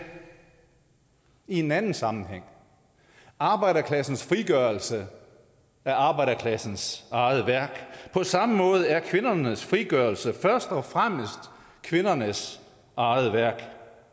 i en anden sammenhæng arbejderklassens frigørelse er arbejderklassens eget værk på samme måde er kvindernes frigørelse først og fremmest kvindernes eget værk